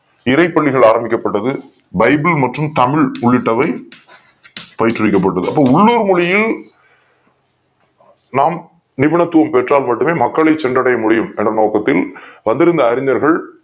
இறை பள்ளிகள் ஆரம்பிக் கப்பட்டது பைபிள் மற்றும் தமிழ் உள்ளிட்டவை பயிற்றுவிக்கப்பட்டது அப்ப உள்ளூர் மொழியில் நாம் நிபுணத்துவம் பெற்றால் மட்டுமே மக்களை சென்றடைய முடியும் என்ற நோக்கத்தில் வந்திருந்த அறிஞர்கள்